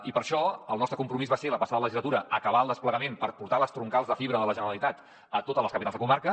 i per això el nostre compromís va ser la passada legislatura acabar el desplegament per portar les troncals de fibra de la generalitat a totes les capitals de comarca